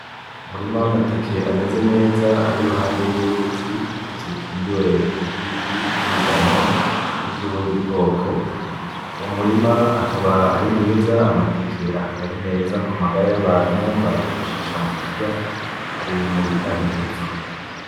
Umurima wamateke ameze neza ari impande yuruzi, uruzi rukingiwe nibiti vyimigano nivyubundi bwoko uwo murima akaba ari mwiza amateke akaba ari meza kumagara yabantu, bayifashisha mukurya ari mubitanga inguvu.